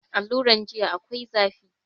Aluran jiya akwai zafi